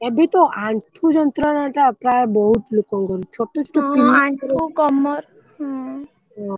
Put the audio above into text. ଏବେ ତ ଆଁଠୁ ଯନ୍ତ୍ରଣା ଟା ପ୍ରାୟ ବହୁତ ଲୋକଙ୍କର ଛୋଟ ଛୋଟ ପିଲାଙ୍କ ହଁ ହଁ ଆଁଠୁ କମର ହୁଁ ହଁ।